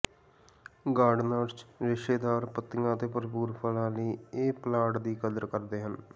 gardeners ਰੇਸ਼ੇਦਾਰ ਪੱਤੀਆਂ ਅਤੇ ਭਰਪੂਰ ਫੁੱਲਾਂ ਲਈ ਇਹ ਪਲਾਂਟ ਦੀ ਕਦਰ ਕਰਦੇ ਹਨ